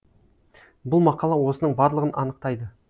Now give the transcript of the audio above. бұл мақала осының барлығын анықтайды